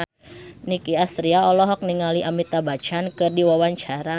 Nicky Astria olohok ningali Amitabh Bachchan keur diwawancara